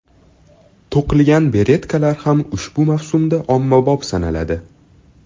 To‘qilgan beretkalar ham ushbu mavsumda ommabop sanaladi.